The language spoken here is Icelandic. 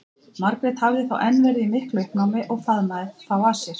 Margrét hafði þá enn verið í miklu uppnámi og faðmað þá að sér.